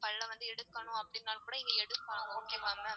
பல்ல வந்து எடுக்கணும் அப்டினாலும் கூட இங்க எடுக்கலாம் okay வா ma'am?